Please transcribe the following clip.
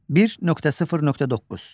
1.0.9.